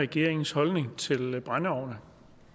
regeringens holdning til brændeovne